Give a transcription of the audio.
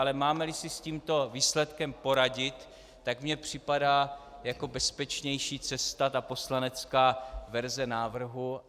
Ale máme-li si s tímto výsledkem poradit, tak mi připadá jako bezpečnější cesta poslanecká verze návrhu.